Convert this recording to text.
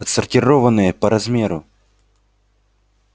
отсортированные по размеру